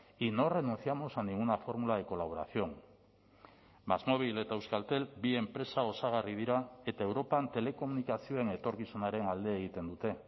y no renunciamos a ninguna fórmula de colaboración másmóvil eta euskaltel bi enpresa osagarri dira eta europan telekomunikazioen etorkizunaren alde egiten dute